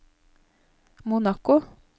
Monaco